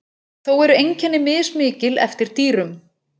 Þó eru einkenni mismikil eftir dýrum.